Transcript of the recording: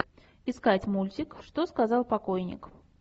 искать мультик что сказал покойник